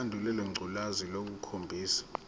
lesandulela ngculazi lukhombisa